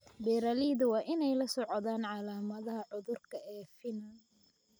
Beeralayda waa inay la socdaan calaamadaha cudurka ee finan.